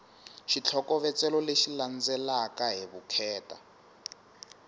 xitlhokovetselo lexi landzelaka hi vukheta